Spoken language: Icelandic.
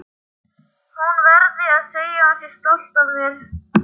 Hún verði að segja að hún sé stolt af mér.